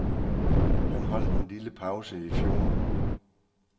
Han holdt en lille pause i fjor.